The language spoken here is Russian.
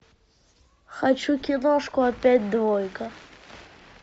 хочу киношку опять двойка